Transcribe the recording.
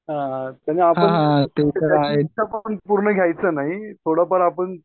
हा हा तुम्ही पूर्ण घ्यायचं नाही थोडाफार आपण